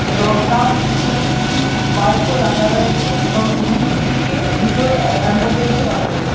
এবং তার নিচে কিছু বাইক - ও রাখা রয়েছে এবং দু-উ দিকে দুটো অ্যা-অ্যাম্বুলেন্স -ও রাখা রয়ে--